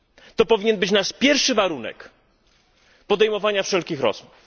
To powinien być nasz pierwszy warunek podejmowania wszelkich rozmów.